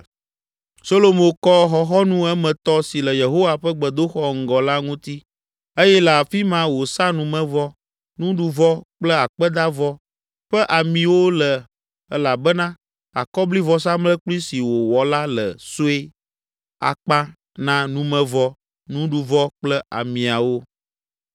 Solomo kɔ xɔxɔnu emetɔ si le Yehowa ƒe gbedoxɔ ŋgɔ la ŋuti eye le afi ma wòsa numevɔ, nuɖuvɔ kple akpedavɔ ƒe amiwo le elabena akɔblivɔsamlekpui si wòwɔ la le sue akpa na numevɔ, nuɖuvɔ kple amiawo.